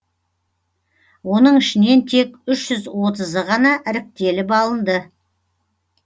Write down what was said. оның ішінен тек үш жүз отызы ғана іріктеліп алынды